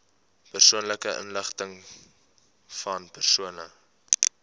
persoonlike inligtingvan persone